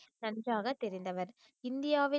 நன்றாக தெரிந்தவர் இந்தியாவில்